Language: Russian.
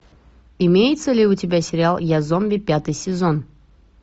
имеется ли у тебя сериал я зомби пятый сезон